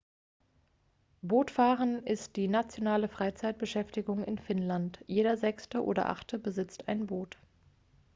bootfahren ist die nationale freizeitbeschäftigung in finnland jeder sechste oder achte besitzt ein boot